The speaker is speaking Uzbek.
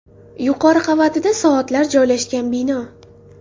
Yuqori qavatida soatlar joylashgan bino.